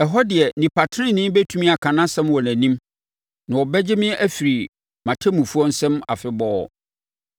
Ɛhɔ deɛ nnipa tenenee bɛtumi aka nʼasɛm wɔ nʼanim, na wɔbɛgye me afiri me ɔtemmufoɔ nsam afebɔɔ.